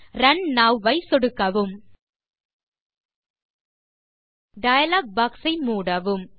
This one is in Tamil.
ரன் ஐ இப்போது சொடுக்கவும் டயலாக் பாக்ஸ் ஐ மூடவும்